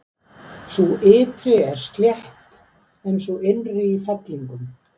Sú ytri er slétt en sú innri í fellingum.